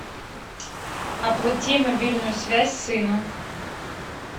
оплати мобильную связь сыну